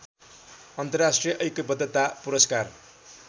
अन्तर्राष्ट्रिय ऐक्यबद्धता पुरस्कार